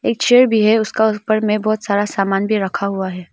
एक चेयर भी है उसका उस पर में बहुत सारा सामान भी रखा हुआ है।